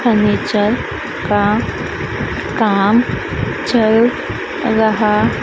furniture का काम चल रहा--